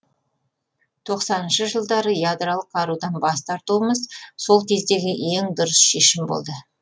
тоқсаныншы жылдары ядролық қарудан бас тартуымыз сол кездегі ең дұрыс шешім болды